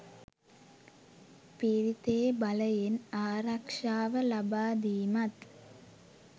පිරිතේ බලයෙන් ආරක්‍ෂාව ලබාදීමත්